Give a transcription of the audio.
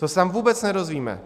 To se tam vůbec nedozvíme.